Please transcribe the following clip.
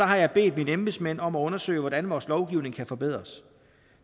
har jeg bedt mine embedsmænd om at undersøge hvordan vores lovgivning kan forbedres